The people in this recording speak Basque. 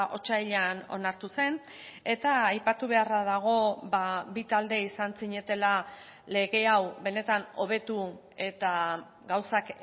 otsailean onartu zen eta aipatu beharra dago bi talde izan zinetela lege hau benetan hobetu eta gauzak